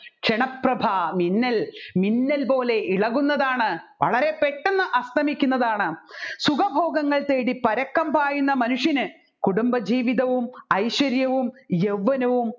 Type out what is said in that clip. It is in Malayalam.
ക്ഷണപ്രഭ മിന്നൽ മിന്നൽ പോലെ ഇളകുന്നതാണ് വളരെ പെട്ടെന്നു അസ്തമിക്കുന്നതാണ് സുഖഭോഗങ്ങൾ തേടിപരക്കം പായുന്ന മനുഷ്യന് കുടുംബജീവിതവും